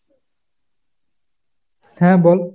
হ্যাঁ বল।